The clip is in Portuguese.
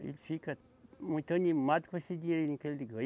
Ele fica muito animado com esse dinheirinho que ele ganha